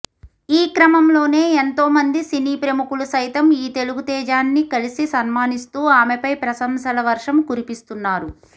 ఈ క్రమంలోనే ఎంతోమంది సినీ ప్రముఖులు సైతం ఈ తెలుగు తేజాన్ని కలిసి సన్మానిస్తూ ఆమెపై ప్రశంసల వర్షం కురిపిస్తున్నారు